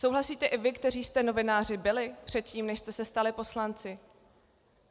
Souhlasíte i vy, kteří jste novináři byli předtím, než jste se stali poslanci?